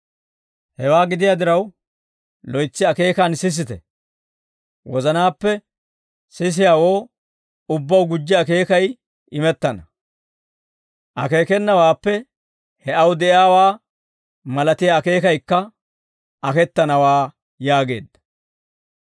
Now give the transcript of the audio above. Hewaa gidiyaa diraw loytsi akeekaan sisite. Wozanaappe sisiyaawoo ubbaw gujji akeekay imettana; akeekenawaappe he aw de'iyaawaa malatiyaa akeekayikka aketanawaa» yaageedda.